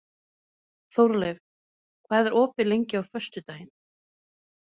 Þórleif, hvað er opið lengi á föstudaginn?